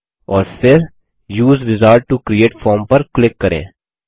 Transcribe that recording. और फिर उसे विजार्ड टो क्रिएट फॉर्म पर क्लिक करिये